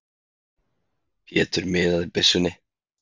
Pétur miðaði byssunni.